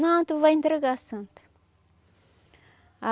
Não, tu vai entregar a santa.